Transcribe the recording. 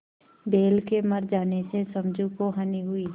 बैल के मर जाने से समझू को हानि हुई